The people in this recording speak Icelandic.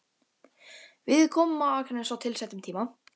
Við komum á Akranes á tilsettum tíma.